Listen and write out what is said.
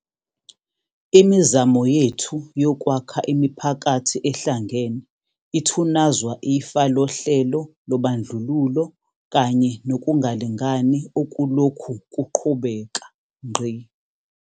Imizamo yethu yokwakha imiphakathi ehlangene ithunazwa ifa lohlelo lobandlululo kanye nokungalingani okulokhu kuqhubeka.